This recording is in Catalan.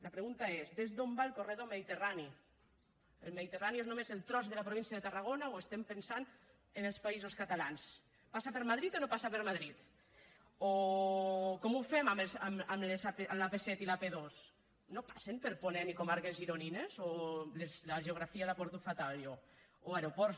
la pregunta és des d’on va el corredor mediterrani el mediterrani és només el tros de la província de tarragona o pensem en els països catalans passa per madrid o no passa per madrid o com ho fem amb l’ap set i l’ap dos no passen per ponent i comarques gironines o la geografia la porto fatal jo o aeroports